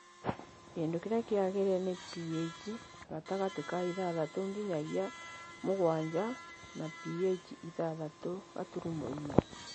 Kĩndũ kĩrĩa kĩagĩrĩire nĩ pH gatagatĩ ka ithathatũ nginyagia mũgwanja na pH ithathatũ gaturumo inya.